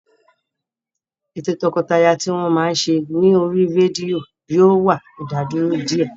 Ètò o tọkọtaya tí wọ́n máa ń ṣe ní oríi rédíò yóò wá ìdádúró díẹ̀